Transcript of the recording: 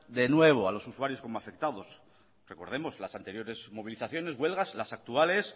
de nuevo a los usuarios como afectados recordemos las anteriores movilizaciones huelgas las actuales